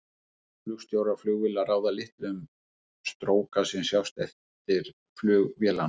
flugstjórar flugvéla ráða litlu um stróka sem sjást eftir flug vélanna